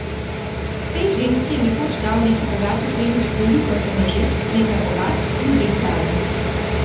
Tej ženski je nekoč dal neki bogati plemič veliko senožet, nekaj ovac in dve kravi.